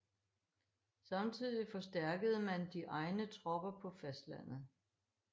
Samtidig forstærkede man de egne tropper på fastlandet